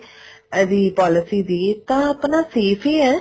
ਇਹਦੀ policy ਦੀ ਤਾਂ ਆਪਣਾ save ਹੀ ਹੈ